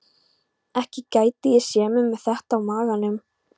Ekki gæti ég séð mig með þetta á maganum.